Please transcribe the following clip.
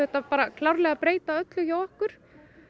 klárlega breyta öllu hjá okkur